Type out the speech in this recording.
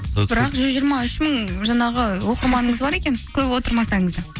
бірақ жүз жиырма үш мың жаңағы оқырманыңыз бар екен көп отырмасаңыз да